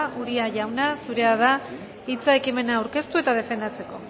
uria jauna zurea da hitza ekimena aurkeztu eta defendatzeko